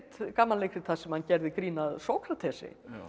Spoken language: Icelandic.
gamanleikrit þar sem hann gerði grín að Sókratesi